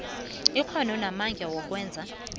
ikghono namandla wokwenza